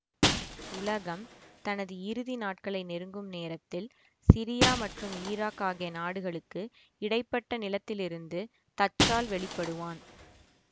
உலகம் தனது இறுதி நாட்களை நெருங்கும் நேரத்தில் சிரியா மற்றும் ஈராக் ஆகிய நாடுகளுக்கு இடை பட்ட நிலத்தில் இருந்து தச்சால் வெளிப்படுவான்